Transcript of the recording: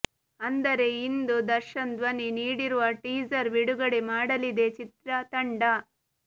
ಅಂದರೆ ಇಂದು ದರ್ಶನ್ ಧ್ವನಿ ನೀಡಿರುವ ಟೀಸರ್ ಬಿಡುಗಡೆ ಮಾಡಲಿದೆ ಚಿತ್ರತಂಡ